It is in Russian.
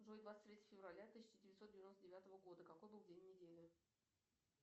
джой двадцать третье февраля тысяча девятьсот девяносто девятого года какой был день недели